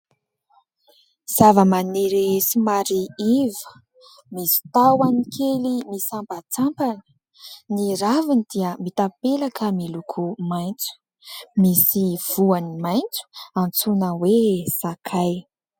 Zavamaniry somary iva misy tahony kely misampantsampana. Ny raviny dia mitapela ka miloko maitso, misy voany maitso antsoina hoe : sakay.